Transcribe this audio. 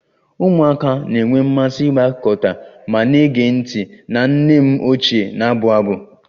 Ụmụaka na-enwe mmasị ịgbakọta ma na-ege ntị na nne m ochie na-abụ abụ